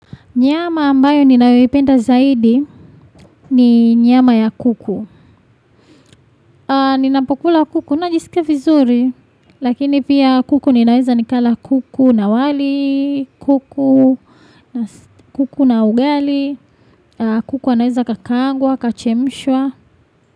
Nyama ambayo ninayoipenda zaidi ni nyama ya kuku. Ninapokula kuku, ninajisikia vizuri, lakini pia kuku ninaweza nikala kuku na wali, kuku na ugali, kuku anaweza akakaangwa, akachemshwa.